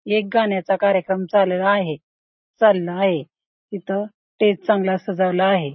एक गाण्याचा कार्यक्रम चालू आहे चालला आहे तिथं स्टेज चांगला सजवला आहे